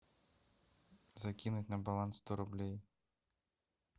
закинуть на баланс сто рублей